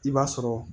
I b'a sɔrɔ